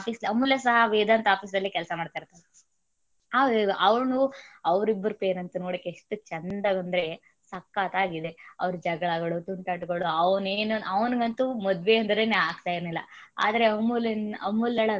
Office Amulya ಸಹ ವೇದಾಂತನ office ನಲ್ಲೇ ಕೆಲಸ ಮಾಡ್ತಿರ್ತಾಳೆ ಅವರ ಇಬ್ಬರ pair ಅಂತೂ ನೋಡಕೆ ಎಷ್ಟು ಚೆಂದ ಅಂದ್ರೆ ಸಕ್ಕತಾಗಿದೆ ಅವರ ಜಗಳಗಳು ತುಂಟಾಟಗಳು ಅವನ ಏನು ಅವನಿಗಂತು ಮದ್ವೆ ಅಂದರೆನೆ ಆಗ್ತಾ ಇರಲಿಲ್ಲಾ ಆದರೆ ಅಮೂಲ್ಯಾ ನ~ ಅಮೂಲ್ಯಲ.